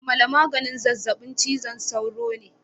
Amala maganin zazzabin cizon sauro ne